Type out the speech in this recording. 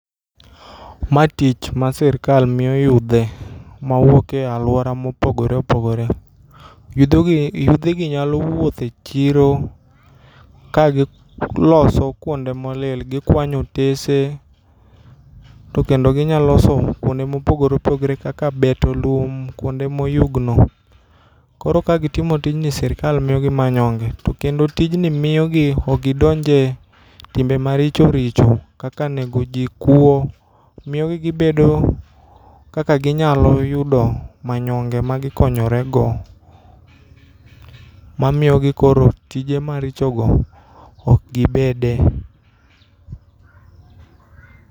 Ma tich ma sirkal miyo yudhe mawuoke aluora mopogore opogore. Yudhegi nyalo wuotho e chiro kagiloso kuonde molil .Gikwanyo otese to kendo ginyaloloso kuonde mopogore opogore kaka beto lum kuonde moyugno. Koro kagitimo tijni sirkal miyogi manyonge to kendo tijni miyogi okgidonje timbe maricho richo kaka negoji, kuo. Miyogi gibedo kaka ginyalo yudo manyonge magikonyorego mamiogi koro tije marichogo koro okgibede.